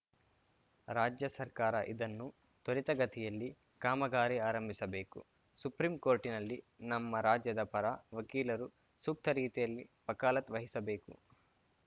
ರಾಜ್ಯ ಸರ್ಕಾರ ಇದನ್ನು ತ್ವರಿತಗತಿಯಲ್ಲಿ ಕಾಮಗಾರಿ ಆರಂಭಿಸಬೇಕು ಸುಪ್ರಿಂ ಕೋರ್ಟಿನಲ್ಲಿ ನಮ್ಮ ರಾಜ್ಯದ ಪರ ವಕೀಲರು ಸೂಕ್ತ ರೀತಿಯಿಲ್ಲಿ ವಕಾಲತ್‌ ವಹಿಸಬೇಕು